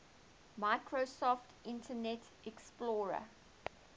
microsoft internet explorer